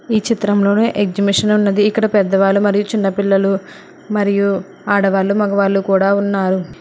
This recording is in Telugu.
ఈ చిత్రంలోని ఎగ్జిబిషన్ ఉన్నది ఇక్కడ పెద్దవాళ్ళు మరియు చిన్నపిల్లలు మరియు ఆడవాళ్లు మగవాళ్ళు కూడా ఉన్నారు.